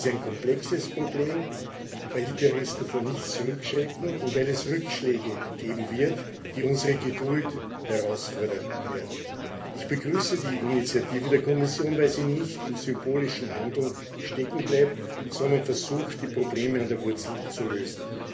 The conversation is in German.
Es ist ein komplexes Problem, weil die Terrorristen vor nichts zurückschrecken und wie es Rückschläge geben wird, die unsere Geduld herausfordern werden. Ich begrüße die Initiative der Kommission, weil sie nicht im symbolischen Handeln stecken bleibt, sondern versucht, die Probleme an der Wurzel zu lösen.